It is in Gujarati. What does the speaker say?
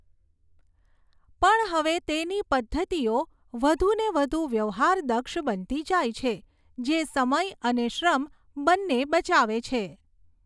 પણ હવે તેની પદ્ધતિઓ વધુને વધુ વ્યવહારદક્ષ બનતી જાય છે, જે સમય અને શ્રમ બંને બચાવે છે.